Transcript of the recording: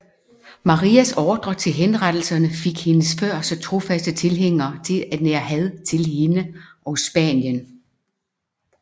Marias ordre til henrettelserne fik hendes før så trofaste tilhængere til at nære had til hende og Spanien